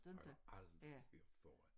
Har jeg aldrig hørt førhen